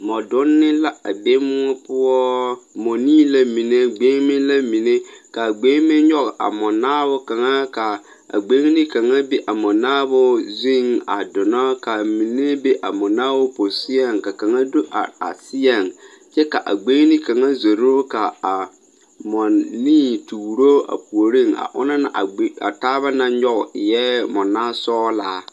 Mͻdonne la a be mõͻ poͻ. Nii la mine gbeŋime la mine. Ka a gbeŋime nyͻge a mͻnaabo kaŋa, ka a gbeŋini kaŋa be a mͻnaabo zuŋ a donnͻ. Ka a mine be a mͻnaabo pososeԑŋ, ka kaŋa do are a seԑŋ kyԑ ka a gbeŋini kaŋa zoro ka a mͻnii tuuro a puoriŋ, a onaŋ na a gbeŋi a taaba naŋ nyͻge eԑԑ mͻnaasͻgelaa.